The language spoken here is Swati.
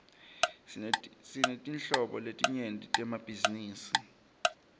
sinetinhlobo letinyenti temabhizinisi